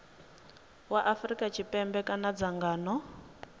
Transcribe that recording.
wa afrika tshipembe kana dzangano